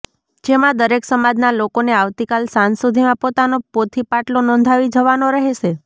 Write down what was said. જેમાં દરેક સમાજના લોકોને આવતીકાલ સાંજ સુધીમાં પોતાનો પોથી પાટલો નોંધાવી જવાનો રહેશે